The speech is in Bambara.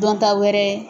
Dɔn ta wɛrɛ ye